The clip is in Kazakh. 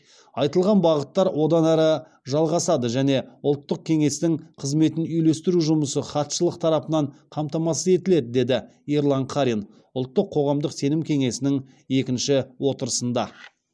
айтылған бағыттар одан ары жалғасады және ұлттық кеңестің қызметін үйлестіру жұмысы хатшылық тарапынан қамтамасыз етіледі деді ерлан қарин ұлттық қоғамдық сенім кеңесінің екінші отырысында